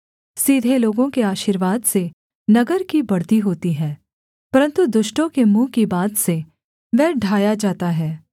सीधे लोगों के आशीर्वाद से नगर की बढ़ती होती है परन्तु दुष्टों के मुँह की बात से वह ढाया जाता है